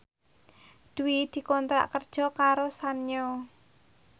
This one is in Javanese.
Dewi dikontrak kerja karo Sanyo